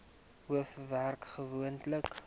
hof werk gewoonlik